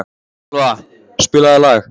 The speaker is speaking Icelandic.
Elva, spilaðu lag.